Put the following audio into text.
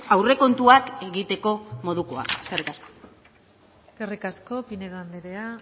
aurrekontuak egitekomodukoa eskerrik asko eskerrik asko pinedo andrea